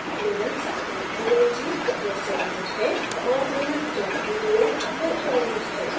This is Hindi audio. linux png raster image है और linux pdf vector image है